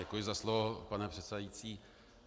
Děkuji za slovo, pane předsedající.